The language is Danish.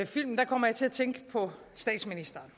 filmen kom jeg til at tænke på statsministeren